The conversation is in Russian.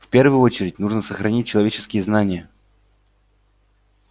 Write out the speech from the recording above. в первую очередь нужно сохранить человеческие знания